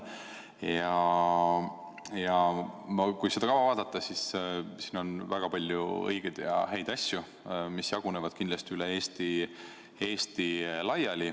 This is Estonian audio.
Kui seda kava vaadata, siis on siin näha väga palju õigeid ja häid asju, mis jagunevad üle Eesti.